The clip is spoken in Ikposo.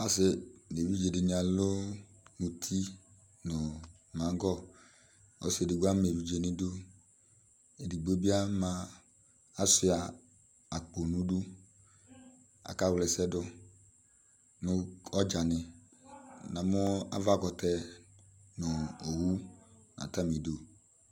Ɔsɩ nʋ evidze dɩnɩ alʋ mʋtɩ nʋ magɔ Ɔsɩ edigbo ama evidze nʋ idu Edigbo bɩ ashʋa akpo nʋ idu Aka wla ɛsɛ dʋ nʋ ɔdzanɩ Namʋ avabʋɛkɛ nʋ owʋ nʋ atamidʋ